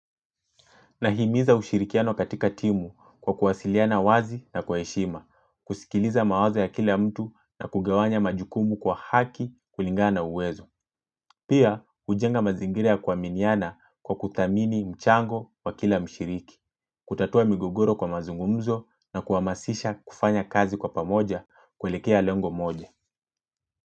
Nahimiza ushirikiano katika timu kwa kuwasiliana wazi na kwa heshima, kusikiliza mawazo ya kila mtu na kugawanya majukumu kwa haki kulingana na uwezo. Pia, hujenga mazingira ya kuaminiana kwa kuthamini mchango wa kila mshiriki, kutatua migogoro kwa mazungumzo na kuhamasisha kufanya kazi kwa pamoja kwelekea lengo moja.